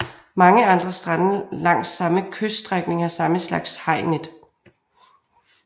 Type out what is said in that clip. Mange andre strande langs samme kyststrækning har samme slags hajnet